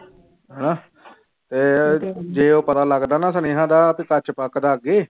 ਹਨਾ ਤੇ ਜੇ ਉਹ ਪਤਾ ਲੱਗਦਾ ਨਾ ਸੁਨੇਹਾਂ ਦਾ ਤੇ ਸੱਚ ਪੱਕਦਾ ਅੱਗੇ